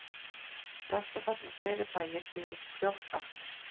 Skaftafell og fleiri bæir byggðust fljótt aftur.